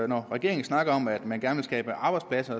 når regeringen snakker om at man gerne vil skabe arbejdspladser